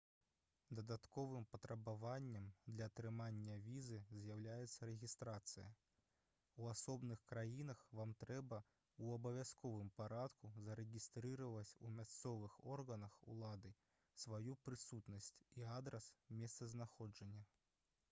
дадатковым патрабаваннем для атрымання візы з'яўляецца рэгістрацыя у асобных краінах вам трэба ў абавязковым парадку зарэгістраваць у мясцовых органах улады сваю прысутнасць і адрас месцазнаходжання